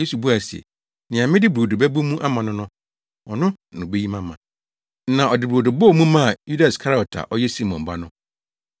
Yesu buae se, “Nea mede brodo bɛbɔ mu ama no no, ɔno na obeyi me ama.” Na ɔde brodo bɔɔ mu maa Yuda Iskariot a ɔyɛ Simon ba no.